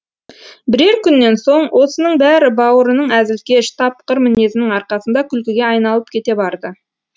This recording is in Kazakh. бірер күннен соң осының бәрі бауырының әзілкеш тапқыр мінезінің арқасында күлкіге айналып кете барды